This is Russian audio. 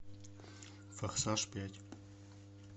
форсаж пять